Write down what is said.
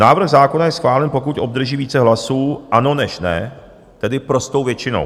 Návrh zákona je schválen, pokud obdrží více hlasů "ano" než "ne", tedy prostou většinou.